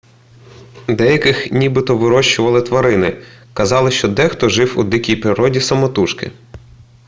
деяких нібито вирощували тварини казали що дехто жив у дикій природі самотужки